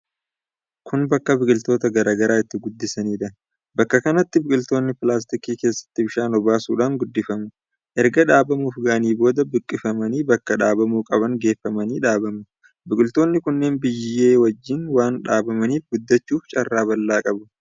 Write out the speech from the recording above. Kun bakka biqiltoota garaa garaa itti guddisaniidha. Bakka kanatti biqiltoonni pilaastikii keessatti bishaan obaasuudhaan guddifamu. Erga dhaabamuuf ga'anii booda buqqifamanii bakka dhaabamuu qaban geeffamanii dhaabamu. Biqiltoonni kunneen biyyee wajjin waan dhaabamaniif guddachuuf carraa bal'aa qabu.